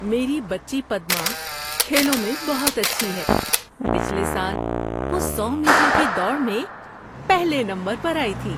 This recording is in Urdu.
میری بچی پدما کھیلوں میں بہت اچھی ہے۔ پچھلے سال وہ سو میٹر کی دوڑ میں پہلے نمبر پر آئی تھی۔